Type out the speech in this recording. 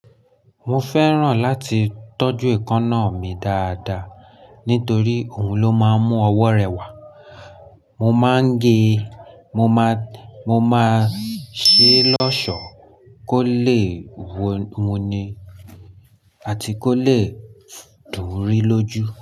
Mo fẹ́ràn láti tọ́jú èékánná mi dáadáa nítorí òun ló máa ń mú ọwọ́ rẹ wá. Mo máa ń gé, mo máa, mo máa ṣe lọ́ọ̀ṣọ́ kó lè wú wuni àti kó lè dún ri lójú.